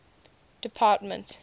department